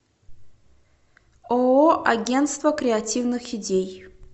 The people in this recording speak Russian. ооо агентство креативных идей